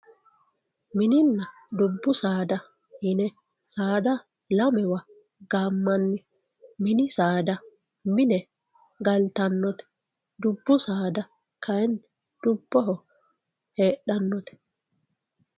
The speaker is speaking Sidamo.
minina dubbu saada yine saada lamewa gamanni minni saada mine galitanote dubbu saada kayinni dubuho hedhanote